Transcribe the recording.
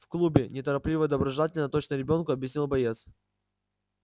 в клубе неторопливо и доброжелательно точно ребёнку объяснил боец